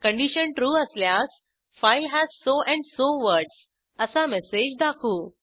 condition true असल्यास file has so and so words असा message दाखवू